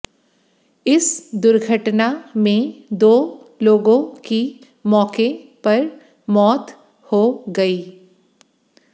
इस दुर्घटना में दो लोगों की मौके पर मौत हो गई